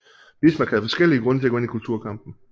Bismarck havde forskellige grunde til at gå ind i kulturkampen